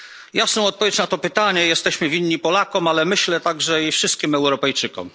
Jasną odpowiedź na to pytanie jesteśmy winni Polakom, ale myślę, że także i wszystkim Europejczykom.